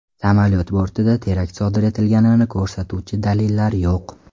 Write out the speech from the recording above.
Samolyot bortida terakt sodir etilganini ko‘rsatuvchi dalillar yo‘q.